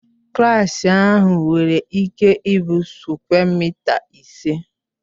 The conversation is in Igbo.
Klaasị ahụ nwere ịke ị bụ sukwe mịta ise.